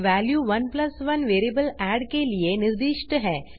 value 11 variable add के लिए निर्दिष्ट है